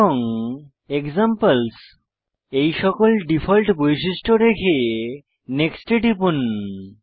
এবং এক্সাম্পলস এই সকল ডিফল্ট বৈশিষ্ট্য রেখে নেক্সট এ টিপুন